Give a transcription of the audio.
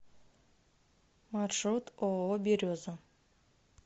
маршрут ооо береза